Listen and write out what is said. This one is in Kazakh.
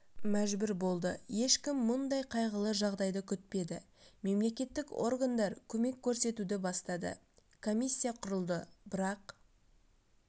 мәжбүр болды ешкім мұндай қайғылы жағдайды күтпеді мемлекеттік органдар көмек көрсетуді бастады комиссия құрылды бірақ